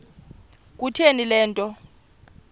kutheni le nto